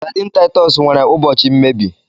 Saidin Titus nwere ụbọchị mmebi